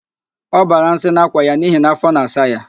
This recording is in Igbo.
Ọ bara nsị n'akwa ya n'ihi na afọ na-asa ya